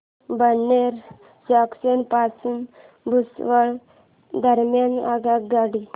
Badnera junction पासून भुसावळ दरम्यान आगगाडी